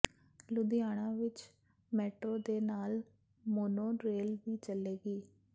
ਲੁਧਿਆਣਾ ਵਿੱਚ ਮੈਟਰੋ ਦੇ ਨਾਲ ਮੋਨੋ ਰੇਲ ਵੀ ਚੱਲੇਗੀ